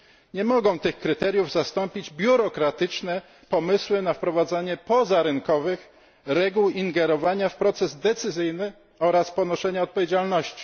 Nie mogą tych kryteriów zastąpić biurokratyczne pomysły na wprowadzanie pozarynkowych reguł ingerowania w proces decyzyjny oraz ponoszenia odpowiedzialności.